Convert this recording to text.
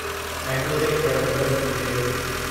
Macrotech Developers limited